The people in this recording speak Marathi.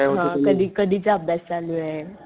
हा कधी कधीच अभ्यास चालूये.